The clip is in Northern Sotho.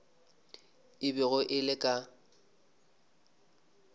e bego e le ka